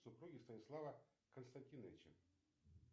супруги станислава константиновича